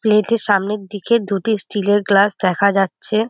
প্লেত -এর সামনের দিকে দুটি স্টিল -এর গ্লাস দেখা যাচ্ছে।